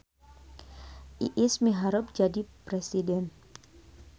Iis miharep jadi presiden